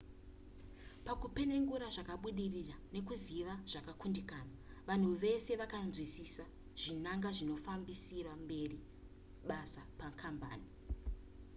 pakupenengura zvakabudirira nekuziva zvakakundikana vanhu uye vese vaibatanidzwa vakanzwisisa zvakadzama tsika zvinangwa nezvinofambisira mberi basa pakambani